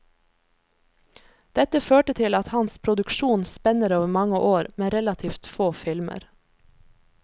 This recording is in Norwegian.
Dette førte til at hans produksjon spenner over mange år, men relativt få filmer.